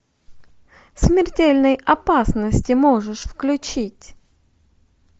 в смертельной опасности можешь включить